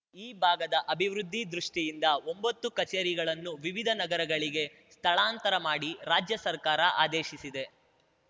ಈ ಭಾಗದ ಅಭಿವೃದ್ಧಿ ದೃಷ್ಟಿಯಿಂದ ಒಂಬತ್ತು ಕಚೇರಿಗಳನ್ನು ವಿವಿಧ ನಗರಗಳಿಗೆ ಸ್ಥಳಾಂತರ ಮಾಡಿ ರಾಜ್ಯ ಸರ್ಕಾರ ಆದೇಶಿಸಿದೆ